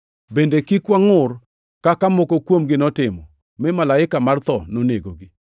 Bende kik wangʼur, kaka moko kuomgi notimo, mi malaika mar tho nonegogi.